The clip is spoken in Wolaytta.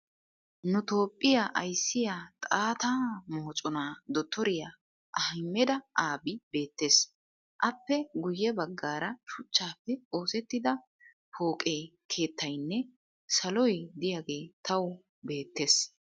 Nu toophphiya ayissiya xaatta moconaa dotoriya ahmeda abi beettes. Aappe guyye baggaara shuchchaappe oosettida pooqe keettayinne saloy diyagee tawu beettes.